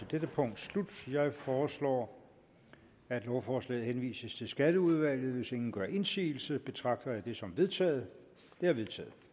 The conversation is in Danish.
dette punkt slut jeg foreslår at lovforslaget henvises til skatteudvalget hvis ingen gør indsigelse betragter jeg det som vedtaget det er vedtaget